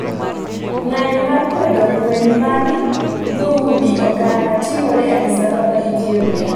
Ng'anyo mar kwedo lweny mar dhoudi oganda timore addis ababa ethiopia